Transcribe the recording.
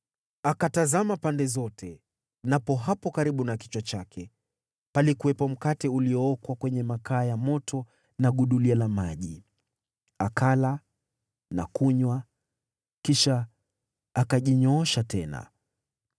Akatazama pande zote, napo hapo karibu na kichwa chake palikuwepo mkate uliookwa kwenye makaa ya moto na gudulia la maji. Akala na kunywa, kisha akajinyoosha tena.